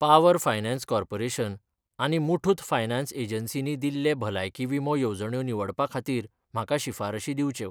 Power finance corporation आनी Muthoot finance एजन्सीनी दिल्ले भलायकी विमो येवजण्यो निवडपा खातीर म्हाका शिफारशी दिंवच्यो.